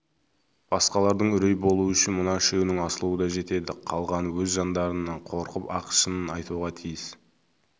басқалардың үрей болуы үшін мына үшеуінің асылуы да жетеді қалғаны өз жандарынан қорқып-ақ шынын айтуға тиіс